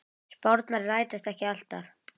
Spárnar rætast ekki alltaf.